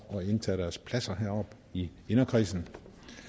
og indtage deres pladser heroppe i inderkredsen